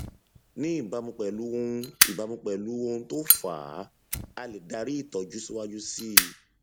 ní ìbámu pẹlú ohun ìbámu pẹlú ohun tó fà á a lè darí ìtọjú síwájú síi